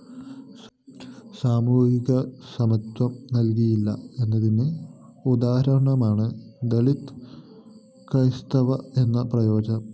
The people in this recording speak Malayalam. സാമൂഹികസമത്വം നല്‍കിയില്ല എന്നതിന് ഉദാഹരണമാണ് ദളിത് ക്രൈസ്തവര്‍ എന്ന പ്രയോഗം